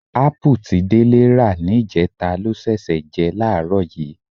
Ápù tí Délé rà níjẹta ló ṣẹ̀ṣẹ̀ jẹ láàárọ̀ yìí.